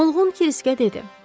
Mılğın Kriskə dedi.